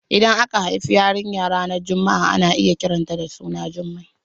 Idan aka haifi yarinya ranar Juma'a ana kiran ta da suna Jumai